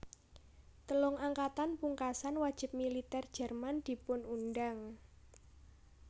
Telung Angkatan pungkasan wajib militèr Jerman dipun undhang